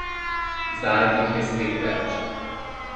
Zdaj jih je spet več.